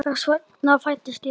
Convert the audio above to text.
Þess vegna fæddist ég.